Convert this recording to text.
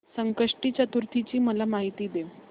संकष्टी चतुर्थी ची मला माहिती दे